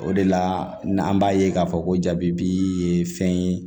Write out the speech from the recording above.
O de la n'an b'a ye k'a fɔ ko jaabi bi ye fɛn ye